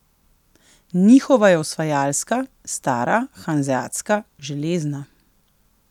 Njihova je osvajalska, stara, hanzeatska, železna.